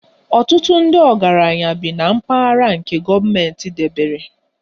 Ọtụtụ ndị ọgaranya bi na mpaghara nke gọọmentị debere